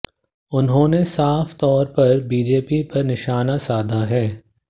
उन्होंने साफ तौर पर बीजेपी पर निशाना साधा है